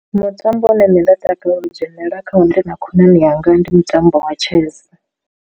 Mutambo une nṋe nda takalela u dzhenelela kha wo ndi na khonani yanga ndi mutambo wa chess.